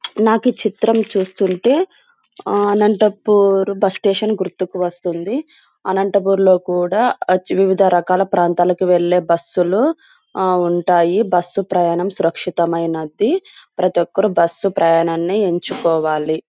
నాకీ చిత్రం చూస్తుంటే ఆ అనంతపూర్ బస్ స్టేషన్ గుర్తుకు వస్తుంది. అనంతపూర్లో కూడా వివిధ రకాల ప్రాంతాలకు వెళ్లే బస్సు లు ఆ ఉంటాయి. బస్సు ప్రయాణం సురక్షితమైనది. ప్రతి ఒక్కరు బస్సు ప్రయాణాన్ని ఎంచుకోవాలి.